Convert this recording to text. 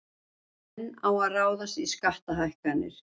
Enn á að ráðast í skattahækkanir